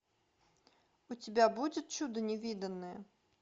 у тебя будет чудо невиданное